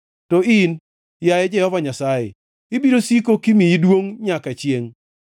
To in, yaye Jehova Nyasaye, ibiro siko kimiyi duongʼ nyaka chiengʼ.